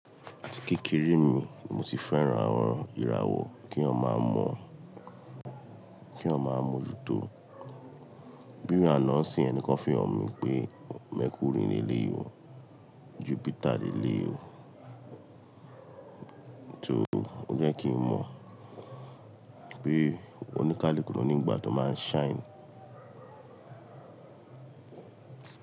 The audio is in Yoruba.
Àti kékeré mi mo ti fẹ́ran àwọn ìràwọ̀ ki eniyan maa mọ kí eniyan máa mọ jù tó. Bí i àná sì ẹnìkan fún ọ̀ mi pé Mercury ni eleyi o, Jupiter ni eleyi o, tó jẹ́ kí n mọ bí oníkálùkùnò nígbà tó máa ń shine.